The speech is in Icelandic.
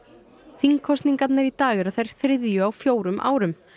þingkosningarnar í dag eru þær þriðju á fjórum árum